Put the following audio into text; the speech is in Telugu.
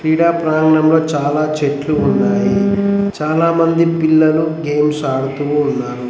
క్రీడా ప్రాంగణంలో చాలా చెట్లు ఉన్నాయి చాలామంది పిల్లలు గేమ్స్ ఆడుతూ ఉన్నారు.